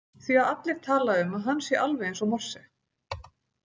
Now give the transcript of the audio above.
Því að allir tala um að hann sé alveg eins og Morse.